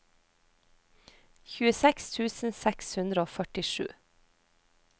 tjueseks tusen seks hundre og førtisju